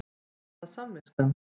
Var það samviskan?